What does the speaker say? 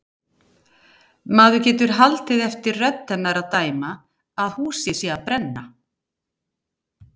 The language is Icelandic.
Maður getur haldið eftir rödd hennar að dæma að húsið sé að brenna.